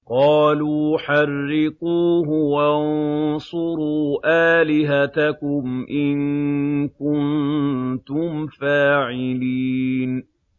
قَالُوا حَرِّقُوهُ وَانصُرُوا آلِهَتَكُمْ إِن كُنتُمْ فَاعِلِينَ